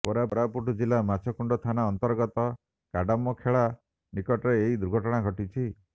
କୋରାପୁଟ ଜିଲ୍ଲା ମାଛକୁଣ୍ଡ ଥାନା ଅନ୍ତର୍ଗତ କାଡାମଖେଳା ନିକଟରେ ଏହି ଦୁର୍ଘଟଣା ଘଟିଛି